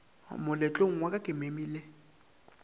moletlong wa ka ke memile